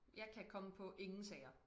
Jeg kan komme på ingen sager